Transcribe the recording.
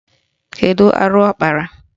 Kedu arụ ọ kpara?